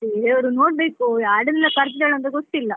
ಬೇರೆಯವರು ನೋಡ್ಬೇಕು, ಯಾರನ್ನೆಲ್ಲ ಕರ್ದಿದ್ದಾಳೆ ಅಂತ ಗೊತ್ತಿಲ್ಲ.